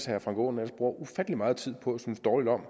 herre frank aaen bruger ufattelig meget tid på at synes dårligt om